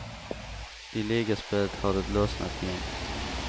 I ligaspelet har det lossnat igen.